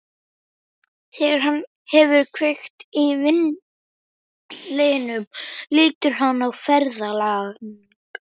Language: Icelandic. Þegar hann hefur kveikt í vindlinum lítur hann á ferðalang.